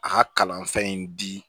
A ka kalan fɛn in di